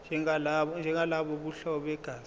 njengalabo bobuhlobo begazi